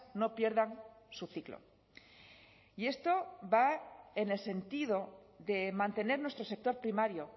no pierdan su ciclo y esto va en el sentido de mantener nuestro sector primario